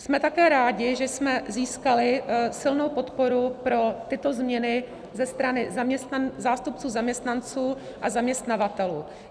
Jsme také rádi, že jsme získali silnou podporu pro tyto změny ze strany zástupců zaměstnanců a zaměstnavatelů.